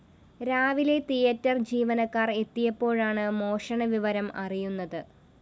രാവിലെ തിയേറ്റർ ജീവിനക്കാര്‍ എത്തിയപ്പോഴാണ് മോഷണവിവരം അറിയുന്നത്